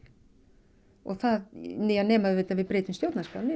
nema þá að við breytum stjórnarskránni